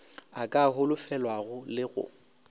a ka holofelwago le go